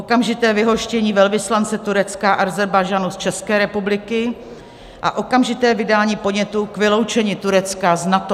Okamžité vyhoštění velvyslance Turecka a Ázerbájdžánu z České republiky a okamžité vydání podnětu k vyloučení Turecka z NATO.